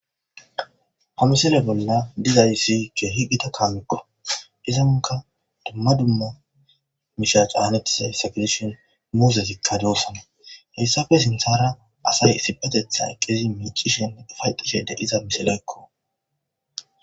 Ha misile bolla dizays keehi kaamekko. Izankka dumma dumma miishsha caanetidi dizayssa gidishin muuzezikka doosona. Hayssappe sinththara asay issippeteththan eqqidi miiccishe ufa'etishe dizays misilekko.